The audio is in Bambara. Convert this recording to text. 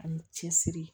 Ani cɛsiri